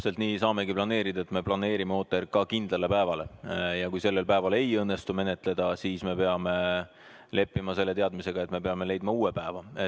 Täpselt nii saamegi planeerida, et me planeerime OTRK kindlale päevale ja kui sellel päeval ei õnnestu menetleda, siis me peame leppima selle teadmisega, et me peame leidma uue päeva.